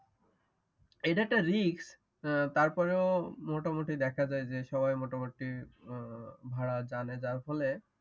এটা একটা রিস্ক তারপরেও মোটামুটি দেখা যাই যে সবাই মোটামুটি ভাড়া জানে যার ফলে